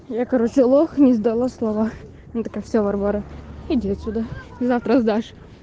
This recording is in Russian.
я короче лох не сдала слова это все варвара иди отсюда завтра сдашь